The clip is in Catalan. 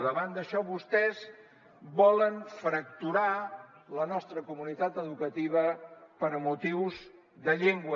davant d’això vostès volen fracturar la nostra comunitat educativa per motius de llengua